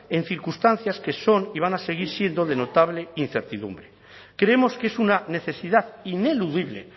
en circunstancias que son y van a seguir siendo de notable incertidumbre creemos que es una necesidad ineludible